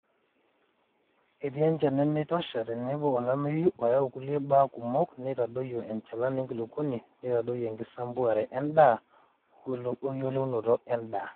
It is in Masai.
etii enchan nemeitosha tenebo olameyu oyau okulie baa kumok naitadoyio enchalan enkuluponi naitadoyio enkisampuare edaa tenebo o welaunoto edaa